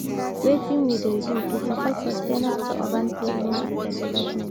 Wetin we dey do to support sustainable urban planning and development?